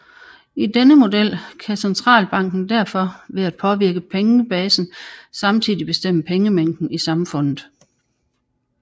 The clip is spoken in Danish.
I denne model kan centralbanken derfor ved at påvirke pengebasen samtidig bestemme pengemængden i samfundet